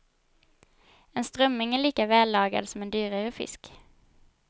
En strömming är lika vällagad som en dyrare fisk.